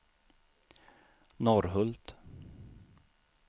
Norrhult